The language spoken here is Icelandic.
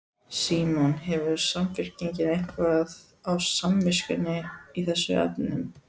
Símon: Hefur Samfylkingin eitthvað á samviskunni í þessum efnum?